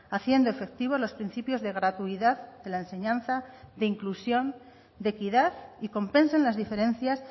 haciendo efectivo los principios de gratuidad de la enseñanza de inclusión de equidad y compensen las diferencias